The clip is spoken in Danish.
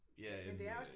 Ja end øh